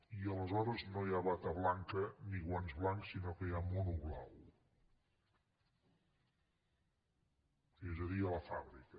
i aleshores no hi ha bata blanca ni guants blancs sinó que hi ha mono blau és a dir a la fàbrica